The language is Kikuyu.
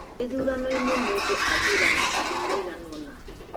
gĩthũrano-inĩ mũndũ athuuraga andũ maigana ũna